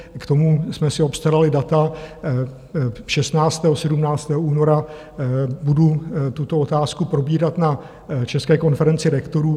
K tomu jsme si obstarali data, 16. a 17. února budu tuto otázku probírat na České konferenci rektorů.